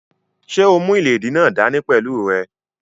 Ṣé o mú ìléèdí náà dá ní pẹ̀lú rẹ?